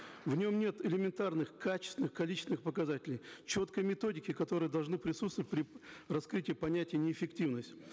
в нем нет элементарных качественных количественных показателей четкой методики которые должны присутствовать при раскрытии понятия неэффективность